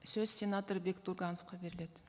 сөз сенатор бектұрғановқа беріледі